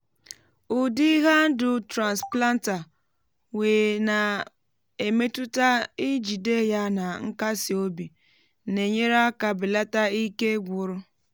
ụdị handụ transplanter wee na-emetụta njide ya na nkasi obi na-enyere aka belata ike gwụrụ.